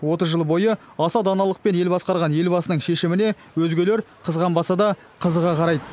отыз жыл бойы аса даналықпен ел басқарған елбасының шешіміне өзгелер қызғанбаса да қызыға қарайды